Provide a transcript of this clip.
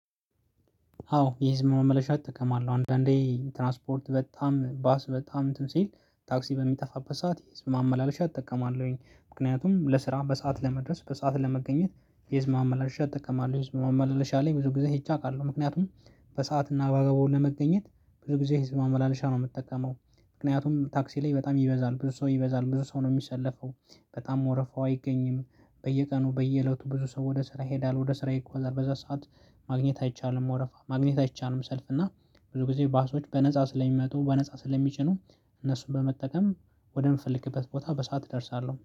አዎ የህዝብ ማመላለሻ እጠቀማለሁ አንዳንዴ ትራንስፖርት በጣም ባስ በጣም እንትን ሲል ታክሲ በሚጠፋበት ሰዓት የህዝብ ማመላለሻ እጠቀማለሁኝ ምክንያቱም ለስራ በሰአት ለመድረስ በሰአት ለመገኘት የህዝብ ማመላለሻ እጠቀማለሁ። የህዝብ ማመላለሻ ላይ ብዙ ጊዜ ሄጄ አውቃለሁ ምክንያቱም በሰአትና በአግባቡ ለመገኘት ብዙ ጊዜ የህዝብ ማመላለሻ ነው የምጠቀመው። ምክንያቱም ታክሲ ላይ በጣም ይበዛል ብዙ ሰው ይበዛል ብዙ ሰው ነው የሚሰለፈው በጣም ወረፋው አይገኝም። በየቀኑ በየእለቱ ብዙ ሰው ወደ ስራ ይሄዳል ወደ ስራ ይጓዛል በዛ ሰዓት ማግኘት አይቻልም ወረፋ ማግኘት አይቻልም። ሰልፍ እና ብዙ ጊዜ ባሶች በነፃ ስለሚመጡ በነፃ ስለሚጭኑ እነሱን በመጠቀም ወደምፈልግበት ቦታ በሰአት እደርሳለሁ